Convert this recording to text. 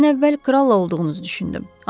Mən əvvəl kralla olduğunuzu düşündüm.